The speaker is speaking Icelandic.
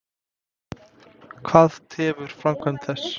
Hvað tefur framkvæmd þess?